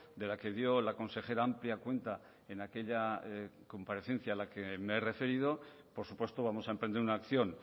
de la que dio la consejera amplia cuenta en aquella comparecencia a la que me he referido por supuesto vamos a emprender una acción